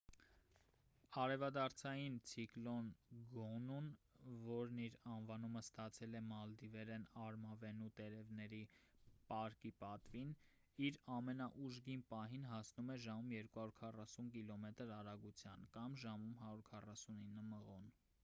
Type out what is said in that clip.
արևադարձային ցիկլոն գոնուն որն իր անվանումը ստացել է մալդիվերեն արմավենու տերևների պարկի պատվին իր ամենաուժգին պահին հասնում էր ժամում 240 կիլոմետր արագության ժամում 149 մղոն: